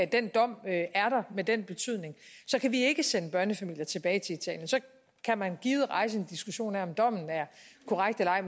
den dom er der med den betydning kan vi ikke sende børnefamilier tilbage til italien så kan man givet rejse en diskussion af om dommen er korrekt eller ej